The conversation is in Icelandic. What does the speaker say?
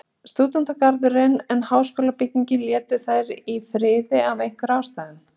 Stúdentagarðinn, en háskólabygginguna létu þeir í friði af einhverjum ástæðum.